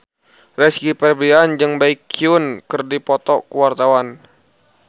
Rizky Febian jeung Baekhyun keur dipoto ku wartawan